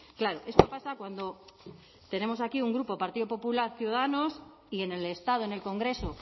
claro esto pasa cuando tenemos aquí un grupo partido popular ciudadanos y en el estado en el congreso